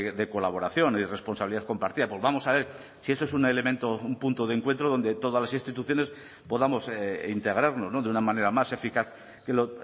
de colaboración y responsabilidad compartida pues vamos a ver si eso es un elemento un punto de encuentro donde todas las instituciones podamos integrarnos de una manera más eficaz que lo